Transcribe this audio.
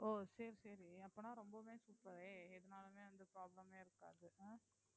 ஓ சரி சரி அப்பனா ரொம்பவுமே super உ எதுனாலுமே வந்து problem ஏ இருக்காது அஹ்